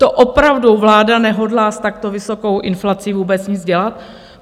To opravdu vláda nehodlá s takto vysokou inflací vůbec nic dělat?